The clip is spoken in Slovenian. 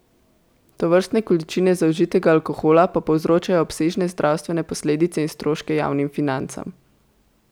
Tovrstne količine zaužitega alkohola pa povzročajo obsežne zdravstvene posledice in stroške javnim financam.